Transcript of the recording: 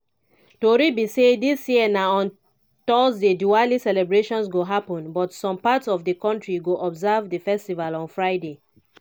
tori be say dis year na on thursday diwali celebration go happun but some parts of di kontri go observe di festival on friday.